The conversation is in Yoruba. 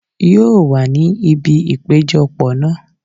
Yóò wà ní ibi ìpéjọ pọ̀ náà.